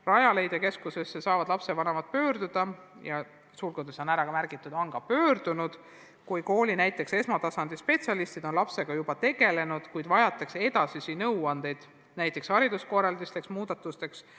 Rajaleidja keskusesse saavad lapsevanemad pöörduda ja ongi pöördunud, kui kooli esmatasandi spetsialistid on lapsega juba tegelenud, kuid vajatakse edasisi nõuandeid, näiteks hariduskorralduslikeks muudatusteks.